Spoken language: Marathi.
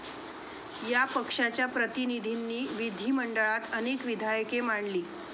या पक्षाच्या प्रतिनिधींनी विधीमंडळात अनेक विधायके मांडली.